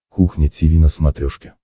кухня тиви на смотрешке